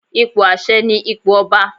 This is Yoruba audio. Ipò àṣẹ ni ipò ọba.